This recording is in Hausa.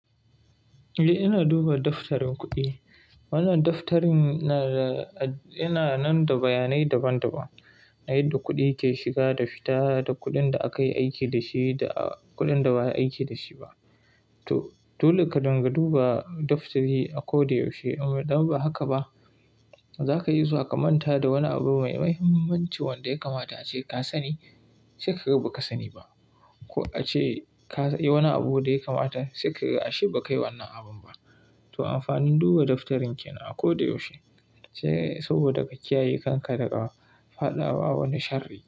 Eh, ina duba daftarin kuɗi. Wannan daftarin nada yana nan da bayanai daban-daban na yadda kuɗi ke shiga da fita, da kuɗin da aka yi aiki da shi da kuɗin da ba a yi aiki da shi ba. To, dole ka dinga duba daftari a koda yaushe. Don ba haka ba za ka iya zuwa ka manta da wani abu mai mahimmanci wanda ya kamata ace ka sani sai ka ga ba ka sani ba ko ace ka yi wani abu da ya kamata sai ka ga a shi ba ka yi wannan abun ba. To, amfanin duba daftarin ke nan a koda yaushe sai saboda ka kiyaye kanka daga faɗa wa wani sharri.